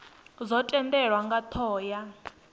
dzo tendelwa nga thoho ya